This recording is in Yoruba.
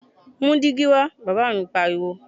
Mú dígí wa! Bàbá mi pariwo.